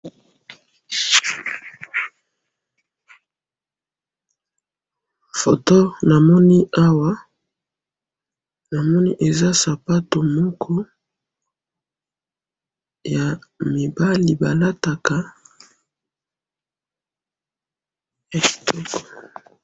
Foto namoni awa, namoni eza sapato moko yamibali balataka, yakitoko